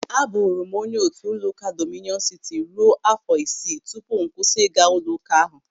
Aburu m onye otu ụlọụka Dọmịnịọn Sịtị ruo áfọ̀ isii tupu m kwụsị ịga ụlọụka ahụ.